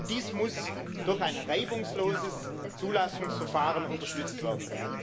Dies muss durch ein reibungsloses Zulassungsverfahren unterstützt werden.